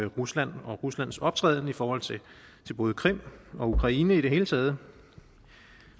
rusland og ruslands optræden i forhold til både krim og ukraine i det hele taget